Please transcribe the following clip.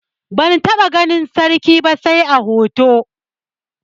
Ban taɓa ganin sarki ba sai a hoto.